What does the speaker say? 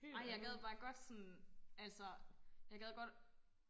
Ej jeg gad bare godt sådan altså jeg gad godt